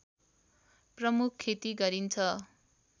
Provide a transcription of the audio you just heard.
प्रमुख खेती गरिन्छ